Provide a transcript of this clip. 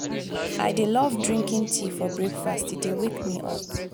i dey love drinking tea for breakfast e dey wake me up.